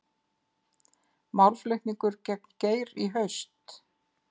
Málflutningur gegn Geir í haust